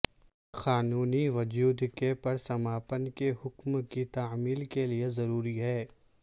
قانونی وجود کے پرسماپن کے حکم کی تعمیل کے لئے ضروری ہے